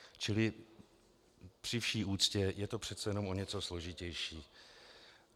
Čili při vší úctě, je to přece jenom o něco složitější.